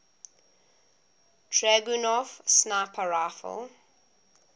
dragunov sniper rifle